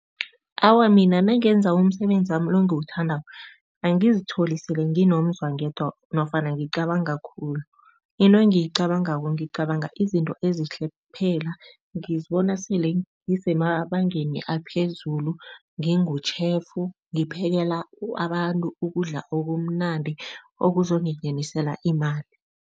Awa, mina nangenza umsebenzi wami lo engiwuthandako, angizitholi sele nginomzwangedwa nofana ngicabanga khulu. Into engiyicabangako, ngicabanga izinto ezihle kuphela. Ngizibona sele ngisemabangeni aphezulu, ngingu-chef ngipekela abantu ukudla okumnandi, okuzongingenisela imali.